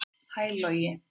Hæ Logi